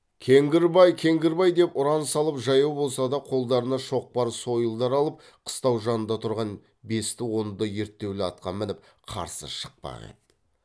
кеңгірбай кеңгірбай деп ұран салып жаяу болса да қолдарына шоқпар сойылдар алып қыстау жанында тұрған бесті онды ерттеулі атқа мініп қарсы шықпақ еді